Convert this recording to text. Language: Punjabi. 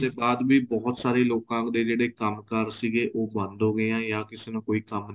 ਬਾਅਦ ਵੀ ਬਹੁਤ ਸਾਰੇ ਲੋਕਾ ਦੇ ਜਿਹੜੇ ਕੰਮਕਾਰ ਸੀਗੇ ਉਹ ਬੰਦ ਹੋ ਗਏ ਜਾਂ ਕਿਸੇ ਨੂੰ ਕੋਈ ਕੰਮ